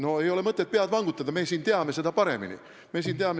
No ei ole mõtet pead vangutada, me siin teame seda paremini.